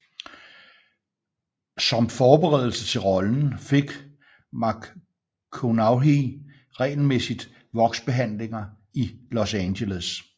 Som forberedelse til rollen fik McConaughey regelmæssigt voksbehandlinger i Los Angeles